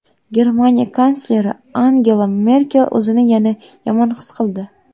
Germaniya kansleri Angela Merkel o‘zini yana yomon his qildi.